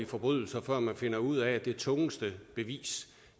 forbrydelser før man finder ud af at det tungeste bevis